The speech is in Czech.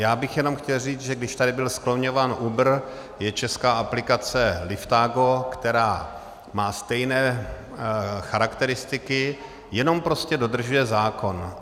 Já bych jenom chtěl říct, že když tady byl skloňován Uber, je česká aplikace Liftago, která má stejné charakteristiky, jenom prostě dodržuje zákon.